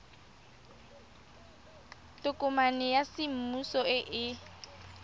tokomane ya semmuso e e